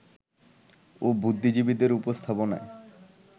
ও বুদ্ধিজীবীদের উপস্থাপনায়